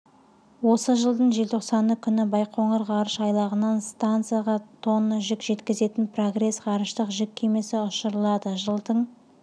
осыжылдың желтоқсаны күні байқоңыр ғарыш айлағынан стансаға тонна жүк жеткізетін прогресс ғарыштық жүк кемесі ұшырылады жылдың